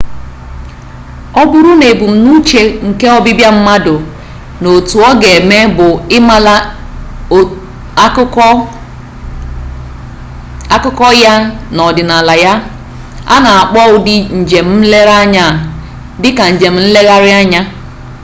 ọ bụrụ na ebumnuche nke ọbịbịa mmadụ na otu ọ ga eme bụ ịmara akụkọ ya na ọdịnala ya a na akpọ ụdị njem nlere anya dị ka njem nlegharị anya